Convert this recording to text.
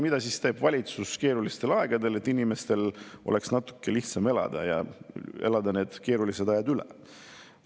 Mida teeb valitsus keerulistel aegadel selleks, et inimestel oleks natuke lihtsam need keerulised ajad üle elada?